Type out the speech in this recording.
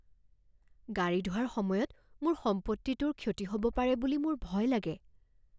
গাড়ী ধোৱাৰ সময়ত মোৰ সম্পত্তিটোৰ ক্ষতি হ'ব পাৰে বুলি মোৰ ভয় লাগে।